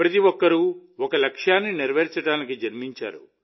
ప్రతి ఒక్కరూ ఒక లక్ష్యాన్ని నెరవేర్చడానికి జన్మించారు